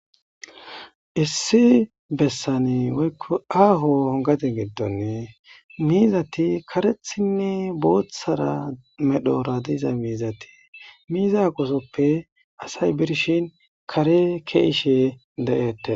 Issi besani woyko aho gade gidon mizati karethinne bothara medhoy diza mizati miza aqosoppe asay birshin kare ke'ishe de'etes.